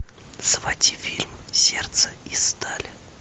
заводи фильм сердце из стали